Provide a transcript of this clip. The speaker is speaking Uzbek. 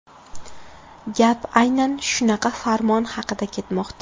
Gap aynan shunaqa farmon haqida ketmoqda.